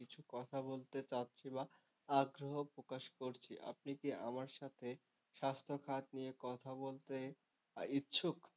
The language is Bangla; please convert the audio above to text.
কিছু কথা বলছে চাচ্ছি বা আগ্রহ প্রকাশ করছি, আপনি কি আমার সাথে স্বাস্থ্যখাত নিয়ে কথা বলতে ইচ্ছুক?